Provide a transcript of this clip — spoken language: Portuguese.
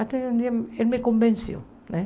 Até um dia ele me convenceu, né?